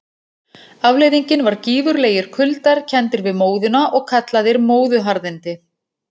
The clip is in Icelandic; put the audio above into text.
Afleiðingin var gífurlegir kuldar, kenndir við móðuna og kallaðir móðuharðindi.